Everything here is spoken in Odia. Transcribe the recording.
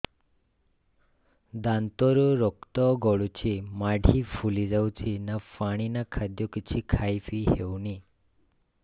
ଦାନ୍ତ ରୁ ରକ୍ତ ଗଳୁଛି ମାଢି ଫୁଲି ଯାଉଛି ନା ପାଣି ନା ଖାଦ୍ୟ କିଛି ଖାଇ ପିଇ ହେଉନି